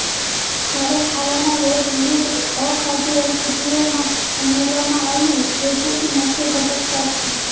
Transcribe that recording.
જ્યારે ખાવાના લોટ વિવિધ અખાદ્ય અશુદ્ધિઓ માં ઉમેરવામાં આવ્યું રેસીપી મુખ્ય ઘટક સાચવો